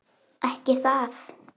GRÍMUR: Ekki það?